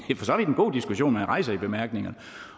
god diskussion man rejser i bemærkningerne